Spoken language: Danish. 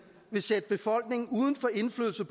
vil sætte befolkningen uden for indflydelse